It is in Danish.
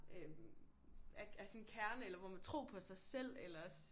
Øh af af sådan kerne eller hvor man tro på sig selv